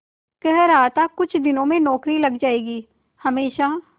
कह रहा था कुछ दिनों में नौकरी लग जाएगी हमेशा